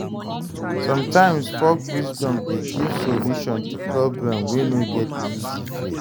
Somtimes folk wisdom dey give solution to problem wey no get easy fix.